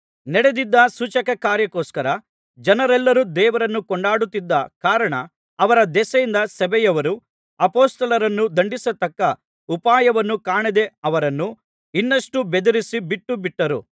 ನಡೆದಿದ್ದ ಸೂಚಕ ಕಾರ್ಯಕ್ಕೋಸ್ಕರ ಜನರೆಲ್ಲರು ದೇವರನ್ನು ಕೊಂಡಾಡುತ್ತಿದ್ದ ಕಾರಣ ಅವರ ದೆಸೆಯಿಂದ ಸಭೆಯವರು ಅಪೊಸ್ತಲರನ್ನು ದಂಡಿಸತಕ್ಕ ಉಪಾಯವನ್ನು ಕಾಣದೆ ಅವರನ್ನು ಇನ್ನಷ್ಟು ಬೆದರಿಸಿ ಬಿಟ್ಟು ಬಿಟ್ಟರು